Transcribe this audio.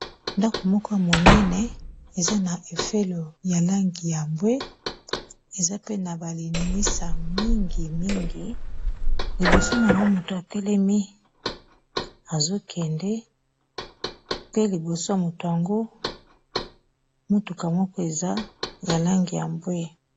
Dako moko ya monene, eza na efelo ya langi ya mbwe, eza pe na ba lininisa mingi mingi. Liboso na yango, moto atelemi azokende. Pe liboso ya moto yango, motuka moko eza ya langi ya mbwe.